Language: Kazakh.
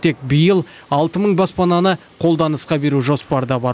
тек биыл алты мың баспананы қолданысқа беру жоспарда бар